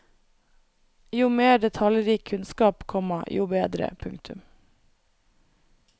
Jo mer detaljrik kunnskap, komma jo bedre. punktum